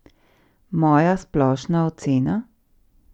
Moja splošna ocena?